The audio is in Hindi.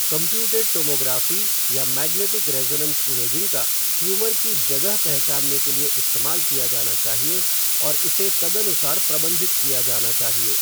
कंप्यूटेड टोमोग्राफ़ी या मैग्नेटिक रेज़ोनेन्स इमेजिंग का ट्यूमर की जगह पहचानने के लिए इस्तेमाल किया जाना चाहिए और इसे तदानुसार प्रबंधित किया जाना चाहिए।